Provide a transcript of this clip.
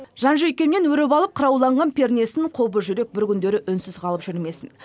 жан жүйкемнен өріп алып қырауланған пернесін қобыз жүрек бір күндері үнсіз қалып жүрмесін